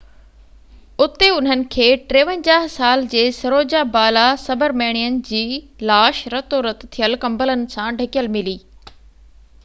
اُتي انهن کي 53 سال جي سروجا بالا سبرميڻين جي لاش رتو رت ٿيل ڪمبلن سان ڍڪيل ملي